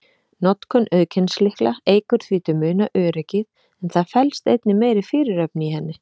Notkun auðkennislykla eykur því til muna öryggið, en það felst einnig meiri fyrirhöfn í henni.